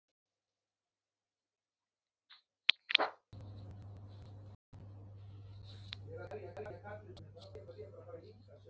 Mér líður eins og ég hafi verið dregin á tálar.